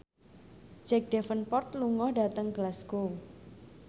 Jack Davenport lunga dhateng Glasgow